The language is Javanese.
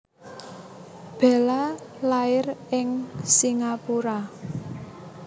Bella lair ing Singapura